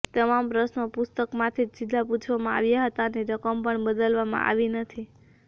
તમામ પ્રશ્નો પુસ્તકમાંથી જ સીધા પૂછવામાં આવ્યા હતા અને રકમ પણ બદલવામાં આવી નથી